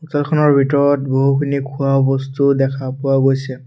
দোকানখনৰ ভিতৰত বহুখিনি খোৱাবস্তু দেখা পোৱা গৈছে।